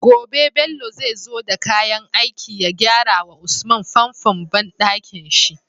Gobe Bello zai zo da kayan aiki ya gyara wa usman famfon banɗakin shi